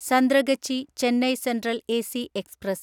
Santragachi Chennai central AC express